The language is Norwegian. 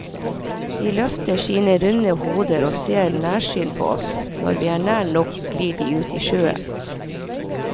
De løfter sine runde hoder og ser nærsynt på oss, når vi er nær nok glir de ut i sjøen.